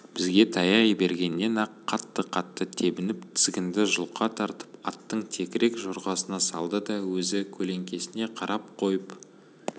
бізге таяй бергеннен-ақ қатты-қатты тебініп тізгінді жұлқа тартып аттың текірек жорғасына салды да өзі көлеңкесіне қарап қойып